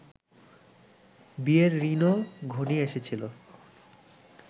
বিয়ের ক্ষণও ঘনিয়ে এসেছিল